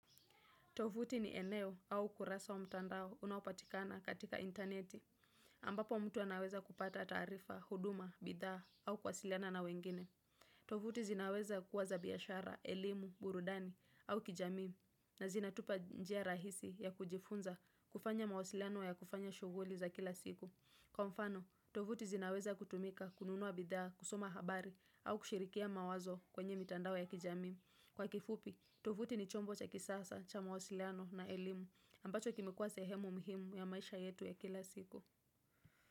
Tovuti ni eneo au kurasa wa mtandao unaopatikana katika interneti, ambapo mtu anaweza kupata tarifa, huduma, bidhaa au kuwasiliana na wengine. Tovuti zinaweza kuwa za biashara, elimu, burudani au kijami na zinatupa njia rahisi ya kujifunza kufanya mawasiliano ya kufanya shughuli za kila siku. Kwa mfano, tovuti zinaweza kutumika kununua bidhaa, kusoma habari au kushirikia mawazo kwenye mtandao ya kijami. Kwa kifupi, tovuti ni chombo cha kisasa, cha mawasiliano na elimu ambacho kimekuwa sehemu muhimu ya maisha yetu ya kila siku.